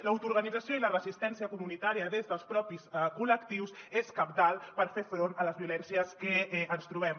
l’autoorganització i la resistència comunitària des dels propis col·lectius són cabdals per fer front a les violències que ens trobem